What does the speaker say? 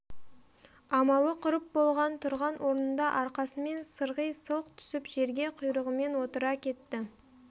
амалы құрып болған тұрған орнында арқасымен сырғи сылқ түсіп жерге құйрығымен отыра кетті